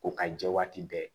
Ko ka jɛ waati bɛɛ